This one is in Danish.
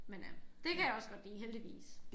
Men øh det kan jeg også godt lide heldigvis